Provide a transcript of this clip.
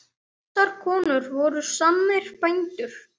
Þessar konur voru sannir bændur.